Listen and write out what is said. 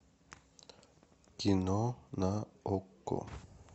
кино на окко